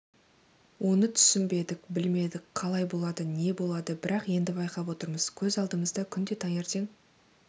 оны түсінбедік білмедік қалай болады не болады бірақ енді байқап отырмыз көз алдымызда күнде таңертең